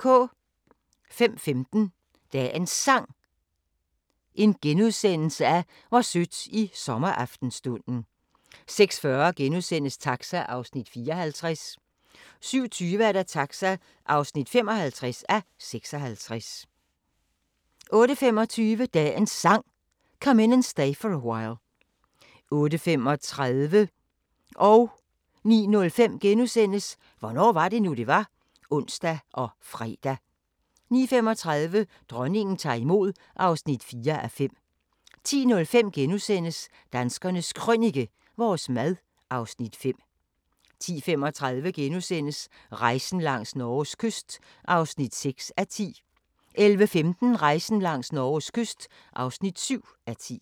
05:15: Dagens Sang: Hvor sødt i sommeraftenstunden * 06:40: Taxa (54:56)* 07:20: Taxa (55:56) 08:25: Dagens Sang: Come In And Stay For A While 08:35: Hvornår var det nu, det var? *(ons og fre) 09:05: Hvornår var det nu, det var? *(ons og fre) 09:35: Dronningen tager imod (4:5) 10:05: Danskernes Krønike - vores mad (Afs. 5)* 10:35: Rejsen langs Norges kyst (6:10)* 11:15: Rejsen langs Norges kyst (7:10)